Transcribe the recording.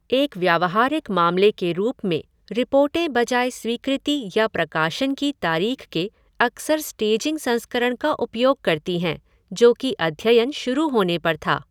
एक व्यावहारिक मामले के रूप में रिपोर्टें बजाय स्वीकृति या प्रकाशन की तारीख के अक्सर स्टेजिंग संस्करण का उपयोग करती हैं जो कि अध्ययन शुरू होने पर था।